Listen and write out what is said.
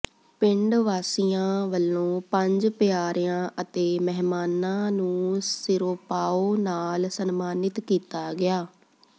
ਪਿੰਡ ਵਾਸੀਆਂ ਵਲੋਂ ਪੰਜ ਪਿਆਰਿਆਂ ਅਤੇ ਮਹਿਮਾਨਾਂ ਨੂੰ ਸਿਰੋਪਾਓ ਨਾਲ ਸਨਮਾਨਿਤ ਕੀਤਾ ਗਿਆ